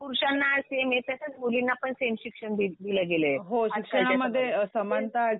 पुरुषांना सेम आहे तसंच मुलींना पण सेम शिक्षण दिलं गेलंय.